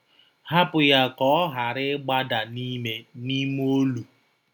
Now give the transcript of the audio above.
Hapụ Ya Ka Ọ Ghara Ịgbada n'ime n'ime Olu!